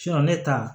ne ta